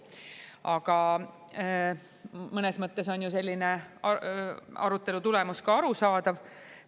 Aga mõnes mõttes on ju arutelu selline tulemus ka arusaadav.